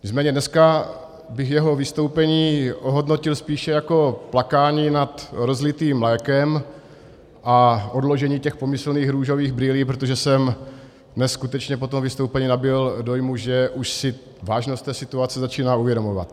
Nicméně dneska bych jeho vystoupení ohodnotil spíše jako plakání nad rozlitým mlékem a odložení těch pomyslných růžových brýlí, protože jsem neskutečně po tom vystoupení nabyl dojmu, že už si vážnost té situace začíná uvědomovat.